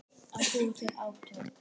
Að búa til átök